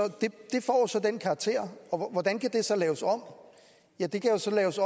den karakter og hvordan kan det så laves om ja det kan jo så laves